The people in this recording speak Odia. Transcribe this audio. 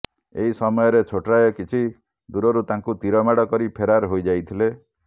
ଏହି ସମୟରେ ଛୋଟରାୟ କିଛି ଦୂରରୁ ତାଙ୍କୁ ତୀରମାଡ଼ କରି ଫେରାର ହୋଇଯାଇଥିଲେ